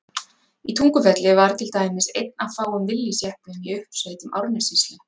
Í Tungufelli var til dæmis einn af fáum Willys-jeppum í uppsveitum Árnessýslu.